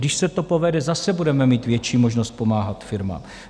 Když se to povede, zase budeme mít větší možnost pomáhat firmám.